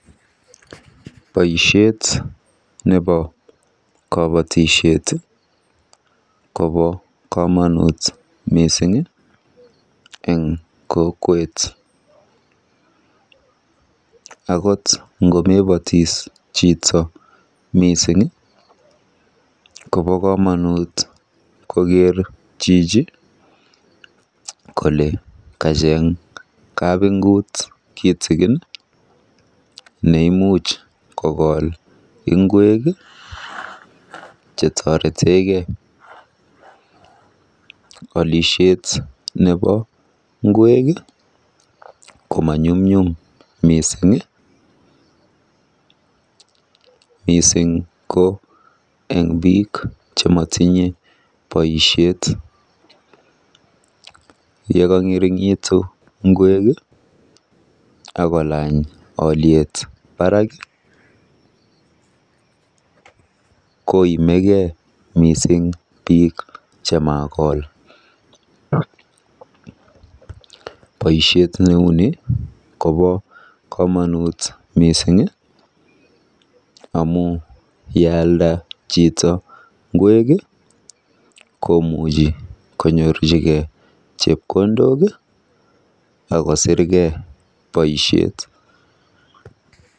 Baishet neboo kabatishet kobaa kamanut missing eng kokwet akot komebatis chito missing kobaa kamanut koker chichi kolee kacheng kabungut nekolee ngweg alishen neboo ngweg ko manyumnyum missing ne kangerigitu ngweg ko tindoi